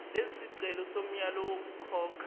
lesisicelo somyalo wokukhokha